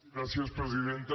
gràcies presidenta